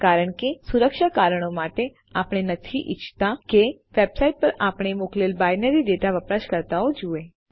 કારણ કે સુરક્ષા કારણો માટે આપણે નથી ઇચ્છતા કે વેબસાઇટ પર આપણે મોકલેલ બાઈનરી ડેટા વપરાશકર્તાઓ જુએ